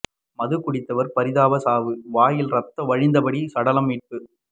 மது குடித்தவர் பரிதாப சாவு வாயில் ரத்தம் வழிந்தபடி சடலம் மீட்பு